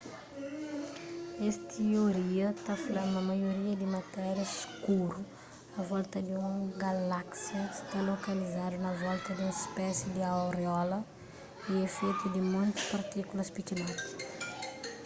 es tioria ta fla ma maioria di matéria skuru a volta di un galáksia sta lokalizadu na volta di un spési di auréola y é fetu di monti partíkulas pikinoti